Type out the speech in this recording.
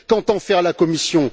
Qu'entend faire la Commission?